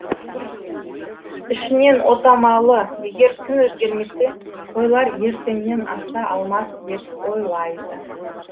ішінен отамалы егер күн өзгермесе қойлар ертеңнен аса алмас деп ойлайды